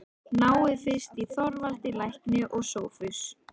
Náið fyrst í Þorvald lækni og Sophus.